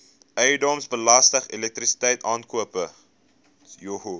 eiendomsbelasting elektrisiteit aankope